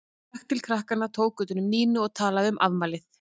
Hann gekk til krakkanna, tók utan um Nínu og talaði um afmælið.